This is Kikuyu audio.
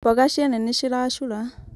mboga ciene nĩ ciracura